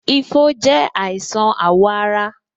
Ifo je àìsàn awo ara